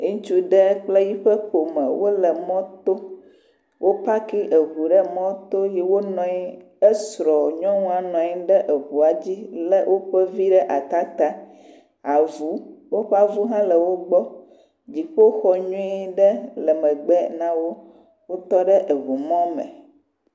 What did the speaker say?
Ŋutsu ɖe kple eƒe ƒome wole mɔto. Wo paaki ŋu ɖe mɔto ye wonɔ anyi. Esrɔ̃ nyɔnua nɔ anyi ɖe eŋua dzi lé woƒe vi ɖe ata ta. Avu. Woƒe avu hã le wogbɔ. Dziƒoxɔ nyuie ɖe le megbe na wo. Wotɔ ɖe eŋumɔ me.